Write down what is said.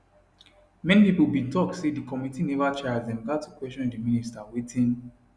many pipo bin tok say di committee neva try as dem gat to question di minister wetin